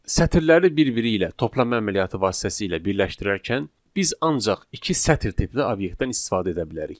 Sətirləri bir-biri ilə toplama əməliyyatı vasitəsilə birləşdirərkən biz ancaq iki sətr tipli obyektdən istifadə edə bilərik.